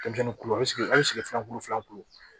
Denmisɛnnin kulu a bɛ sigi a bɛ sigi filan kulu filanan kulu la